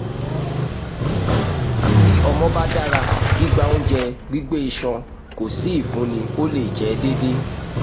ti ọmọ ba dara gbigba ounjẹ gbigbe iṣan ko si ifunni o le jẹ deede